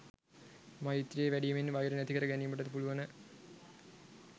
මෛත්‍රීය වැඩීමෙන් වෛර නැති කර ගැනීමට පුළුවන.